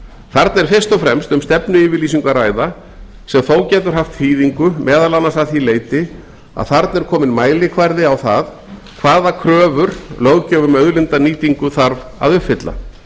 þarna er fyrst og fremst um stefnuyfirlýsingu að ræða sem þó getur haft þýðingu meðal annars að því leyti að þarna er kominn mælikvarði á það hvaða kröfu löggjöf um auðlindanýtingu þarf að uppfylla